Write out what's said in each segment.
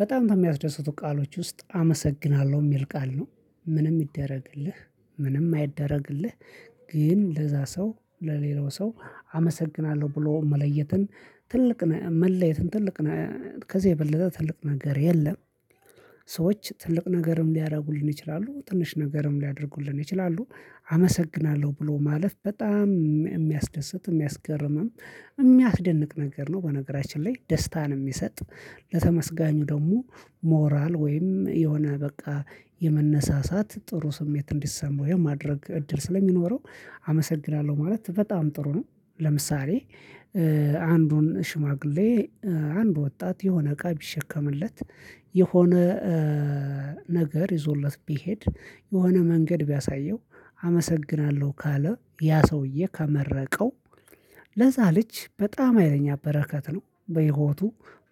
በጣም ከሚያስደስቱ ቃሎች ውስጥ አመሰግናለሁ የሚል ቃል ነው። ምንም ይደረግልህ ምንም አይደረግልህ። ግን ለዛ ሰው ለሌላው ሰው አመሰግናለሁ ብሎ መለየትን። ትልቅ መለየትን ትልቅ ከዚህ የበለጠ ትልቅ ነገር የለም። ሰዎች ትልቅ ነገርም ሊያደርጉልን ይችላሉ ትንሽ ነገርም ሊያደርጉልን ይችላሉ። አመሰግናለሁ ብሎ ማለፍ በጣም የሚያስደስት የሚያስገርምም የሚያስደንቅ ነገር ነው። በነገራችን ላይ ደስታን የሚሰጥ ለተመስጋኙ ደግሞ ሞራል ወይም የሆነ በቃ የመነሳሳት ጥሩ ስሜት እንዲሰማው የማድረግ እድል ስለሚኖረው። አመሰግናለሁ ማለት በጣም ጥሩ ነው። ለምሳሌ አንዱን ሽማግሌ አንድ ወጣት የሆነ እቃ ቢሸከምለት። የሆነ ነገር ይዞለት ቢሄድ የሆነ መንገድ ቢያሳየው። አመሰግናለሁ ካለ ያ ሰውዬ ከመረቀው። ለዛ ልጅ በጣም ሀይለኛ በረከት ነው በህይወቱ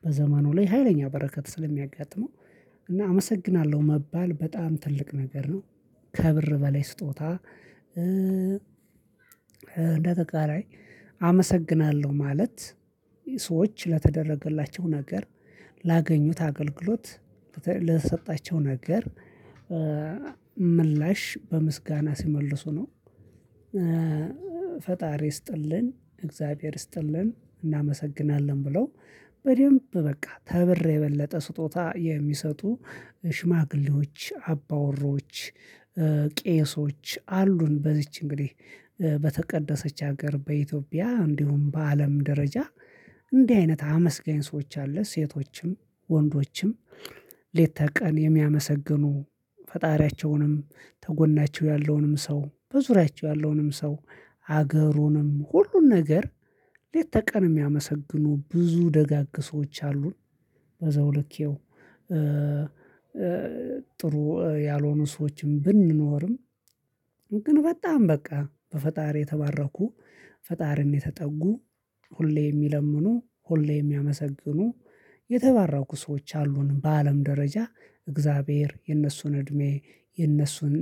በዘመኑ ላይ ሀይለኛ በረከት ስለሚያጋጥመው። እና አመሰግናለሁ መባል በጣም ትልቅ ነገር ነው። ከብር በላይ ስጦታ። እንደ ተቃራይ አመሰግናለሁ ማለት። ሰዎች ለተደረገላቸው ነገር ላገኙት አገልግሎት ለሰጣቸው ነገር ምላሽ በምስጋና ሲመልሱ ነው። ፈጣሪ ስጥልን እግዚአብሔር ይስጥልን እናመሰግናለን ብለው። በደንብ በቃ ተብር የበለጠ ስጦታ የሚሰጡ ሽማግሌዎች አባወራዎች ቄሶች አሉን። በዚች እንግዲህ በተቀደሰች ሀገር በኢትዮጵያ እንዲሁም በአለም ደረጃ። እንዲህ አይነት አመስጋኝ ሰዎች አለ። ሴቶችም ወንዶችም ሌት ከቀን የሚያመሰግኑ ፈጣሪያቸውንም ተጎናቸው ያለውንም ሰው በዙሪያቸው ያለውንም ሰው ሀገሩንም ሁሉን ነገር ለተቀን የሚያመሰግኑ ብዙ ደጋግ ሰዎች አሉን። በዛው ልክ ጥሩ ያልሆኑ ሰዎችም ብንኖርም። ግን በጣም በቃ በፈጣሪ የተባረኩ ፈጣሪን የተጠጉ ሁሌ የሚለምኑ ሁሌ የሚያመሰግኑ የተባረኩ ሰዎች አሉን። በአለም ደረጃ እግዚአብሔር የነሱን እድሜ የነሱን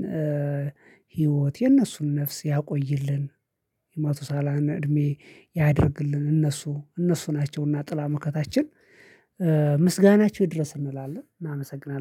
ህይወት የነሱን ነፍስ ያቆይልን። የማቱሳላን እድሜ ያድርግልን እነሱ እነሱ ናቸውና ጥላ ምክንያታችን ምስጋናቸው ይድረስ እንላለን እናመሰግናለን